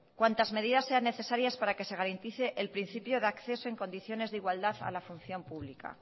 cuantas medidas sean necesarias para que se garantice el principio de acceso en condiciones de igualdad a la función pública